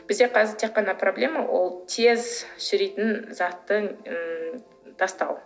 бізде қазір тек қана проблема ол тез шіритін затты ы тастау